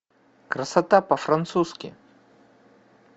красота по французски